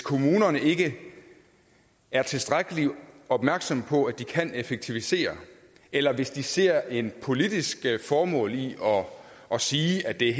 kommunerne ikke er tilstrækkeligt opmærksomme på at de kan effektivisere eller hvis de ser et politisk formål i at sige at det er